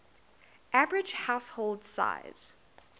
average household size